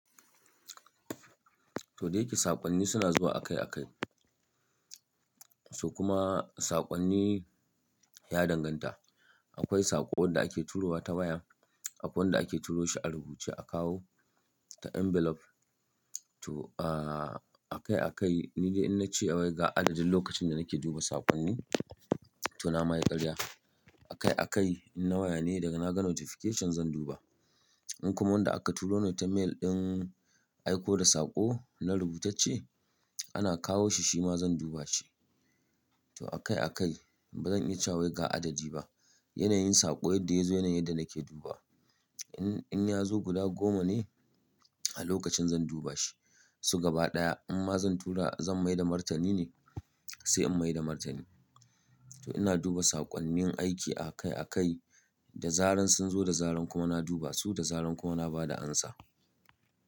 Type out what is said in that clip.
Toh da yake saƙonni suna zuwa akai-akai. To kuma saƙonni ya danganta. Akwai saƙo wanda ake turo wa ta waya, akwai wanda ake turo shi a rubuce akawo ta envelope. To a-akai akai ni idan na ce wai ga adadin lokacin da nake duba saƙonni to na ma yi ƙarya. Akai akai in na waya ne daga na ga notification zan duba. In kuma wanda aka turo ne ta mail ɗin aiko da saƙo na rubutacce ana kawo shi shi ma zan duba shi. To akai akai ba zan iya cewa ga adadi ba. Yanayin saƙo yadda yazo yanayin yadda nake duba. In, in ya zo guda goma ne a lokacin zan duba shi. Su gaba ɗaya in ma zan tura zan mai da martani ne sai in mai da martani. To ina duba saƙonnin aiki akai akai da zaran sun zo da zaran kuma na duba su da zaran kuma na bada amsa.